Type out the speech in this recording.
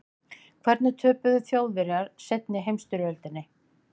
Hvernig töpuðu Þjóðverjar seinni heimsstyrjöldinni?